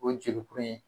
O ye jelikuru ye